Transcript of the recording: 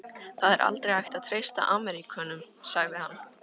Það er aldrei hægt að treysta Ameríkönum sagði hann.